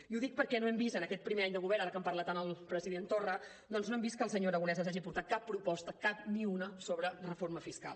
i ho dic perquè no hem vist en aquest primer any de govern ara que en parla tant el president torra doncs no hem vist que el senyor aragonès ens hagi portat cap proposta cap ni una sobre reforma fiscal